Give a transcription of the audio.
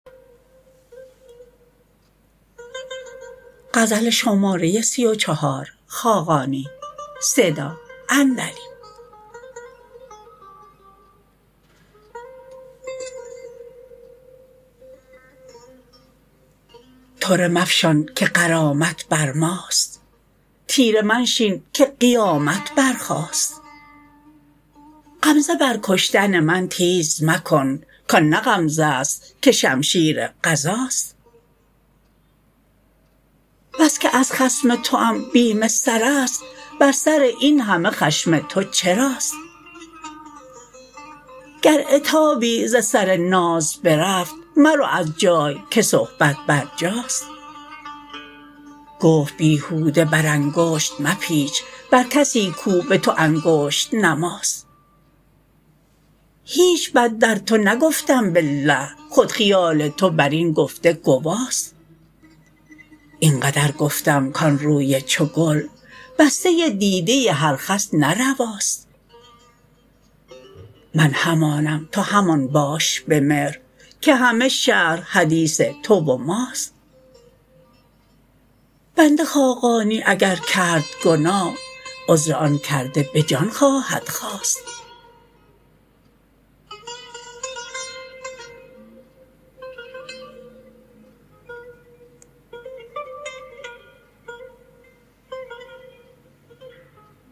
طره مفشان که غرامت بر ماست طیره منشین که قیامت برخاست غمزه بر کشتن من تیز مکن کان نه غمزه است که شمشیر قضاست بس که از خصم توام بیم سر است بر سر این همه خشم تو چراست گر عتابی ز سر ناز برفت مرو از جای که صحبت بر جاست گفت بیهوده بر انگشت مپیچ بر کسی کو به تو انگشت نماست هیچ بد در تو نگفتم بالله خود خیال تو بر این گفته گواست این قدر گفتم کان روی چو گل بسته دیده هر خس نه رواست من همانم تو همان باش به مهر که همه شهر حدیث تو و ماست بنده خاقانی اگر کرد گناه عذر آن کرده به جان خواهد خواست